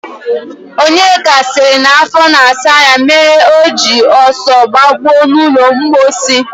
Onyeka sịrị na afọ na-asa ya mere o ji ọsọ gbakpuo n'ụlọmkpochi